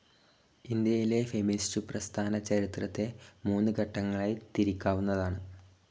ഇന്ത്യയിലെ ഫെമിനിസ്റ്റു പ്രസ്ഥാനചരിത്രത്തെ മൂന്നു ഘട്ടങ്ങളായി തിരിക്കാവുന്നതാണ്.